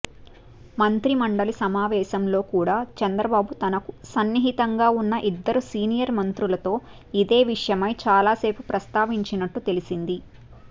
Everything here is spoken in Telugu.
మంత్రిమండలి సమావేశంలో కూడా చంద్రబాబు తనకు సన్నిహితంగా ఉన్న ఇద్దరు సీనియర్ మంత్రులతో ఇదే విషయమై చాలాసేపు ప్రస్తావించినట్టు తెలిసింది